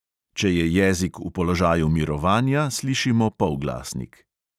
Če je jezik v položaju mirovanja, slišimo polglasnik.